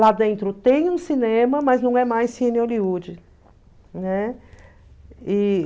Lá dentro tem um cinema, mas não é mais Cine Hollywood, né? E...